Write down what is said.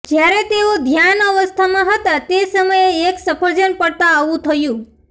જ્યારે તેઓ ધ્યાન અવસ્થામાં હતા તે સમયે એક સફરજન પડતાં આવું થયું